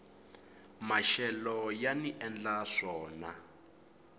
maxelo yani endla swona